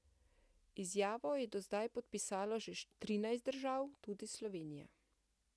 Izjavo je do zdaj podpisalo že trinajst držav, tudi Slovenija.